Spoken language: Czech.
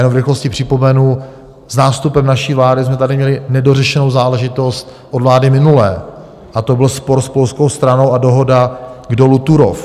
Jenom v rychlosti připomenu, s nástupem naší vlády jsme tady měli nedořešenou záležitost od vlády minulé a to byl spor s polskou stranou a dohoda k dolu Turów.